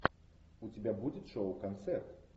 у тебя будет шоу концерт